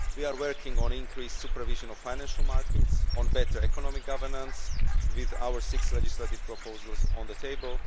We are working on increased supervision of financial markets, on better economic governance, with our six legislative proposals on the table.